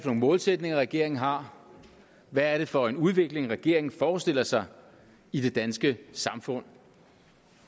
nogle målsætninger regeringen har hvad er det for en udvikling regeringen forestiller sig i det danske samfund